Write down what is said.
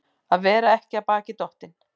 Að vera ekki af baki dottinn